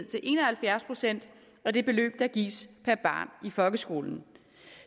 til en og halvfjerds procent af det beløb der gives per barn i folkeskolen